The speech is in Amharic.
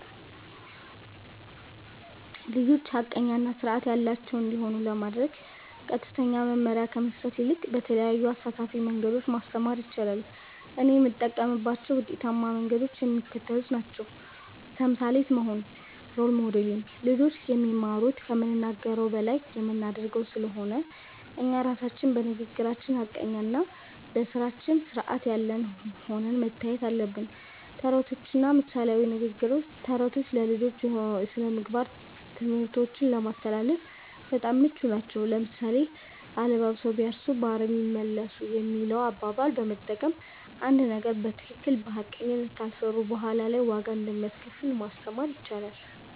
ልጆች ሐቀኛ እና ሥርዓት ያላቸው እንዲሆኑ ለማድረግ ቀጥተኛ መመሪያ ከመስጠት ይልቅ በተለያዩ አሳታፊ መንገዶች ማስተማር ይቻላል። እኔም የምጠቀምባቸው ውጤታማ መንገዶች የሚከተሉት ናቸው። ተምሳሌት መሆን (Role Modeling)፦ ልጆች የሚማሩት ከምንናገረው በላይ በምናደርገው ስለሆነ፣ እኛ ራሳችን በንግግራችን ሐቀኛና በሥራችን ሥርዓት ያለን ሆነን መታየት አለብን። ተረቶችና ምሳሌያዊ ንግግሮች፦ ተረቶች ለልጆች የሥነ-ምግባር ትምህርቶችን ለማስተላለፍ በጣም ምቹ ናቸው። ለምሳሌ፣ "አለባብሰው ቢያርሱ በአረም ይመለሱ" የሚለውን አባባል በመጠቀም፣ አንድን ነገር በትክክልና በሐቀኝነት ካልሰሩት በኋላ ላይ ዋጋ እንደሚያስከፍል ማስተማር ይቻላል።